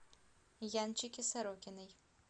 янчике сорокиной